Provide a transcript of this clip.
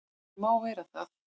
Hann má vera það.